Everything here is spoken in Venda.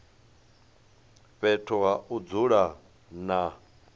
fhethu ha u dzula na